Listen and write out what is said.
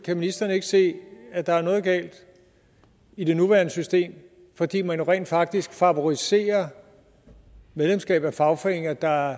ministeren ikke se at der er noget galt i det nuværende system fordi man jo rent faktisk favoriserer medlemskab af fagforeninger der